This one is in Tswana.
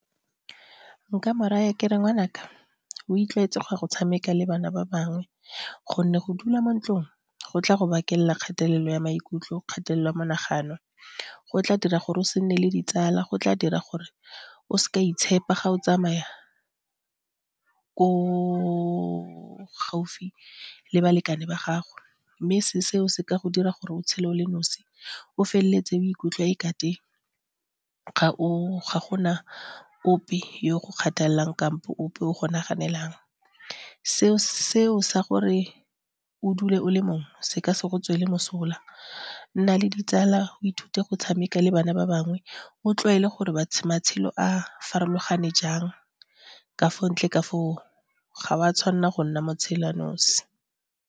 Nka mo raya ke re ngwanaka o itlwaetsa go ya go tshameka le bana ba bangwe gonne go dula mo ntlong go tla go bakela kgatelelo ya maikutlo, kgatelelo ya monagano, go tla dira gore o se nne le ditsala, go tla dira gore o s'ka o a itshepa ga o tsamaya ko gaufi le balekane ba gago. Mme seo se ka go dira gore o tshele o le nosi o feleletse o ikutlwa ekate ga gona ope yo go kgathalelang kampo ope o go naganelang. Seo sa gore o dule o le mongwe se ke se go tswela mosola nna le ditsala o ithute go tshameka le bana ba bangwe o tlwaele gore matshelo a farologane jang ka fa ntle ka foo ga wa tshwanela go nna motshela nosi